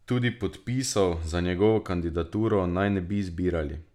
Tudi podpisov za njegovo kandidaturo naj ne bi zbirali.